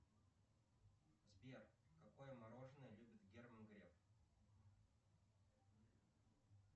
сбер какое мороженое любит герман греф